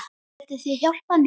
Getið þið hjálpað mér?